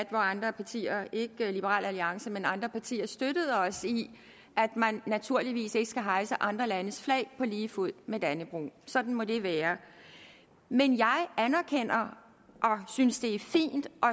hvor andre partier ikke liberal alliance men andre partier støttede os i at man naturligvis ikke skal hejse andre landes flag på lige fod med dannebrog sådan må det være men jeg anerkender og synes det er fint og